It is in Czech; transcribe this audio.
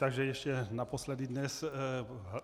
Takže ještě naposledy dnes.